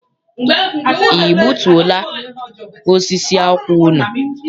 I gbutuo la osisi akwụ unu?